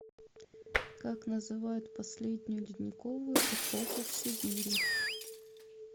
как называют последнюю ледниковую эпоху в сибири